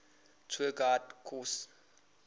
tour guide course